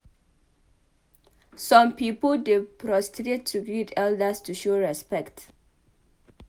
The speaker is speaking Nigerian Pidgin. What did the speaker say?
Some pipo dey prostrate to greet elders to show respect